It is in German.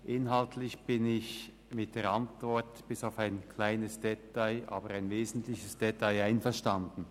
Inhaltlich bin ich mit der Antwort bis auf ein kleines, aber wesentliches Detail einverstanden.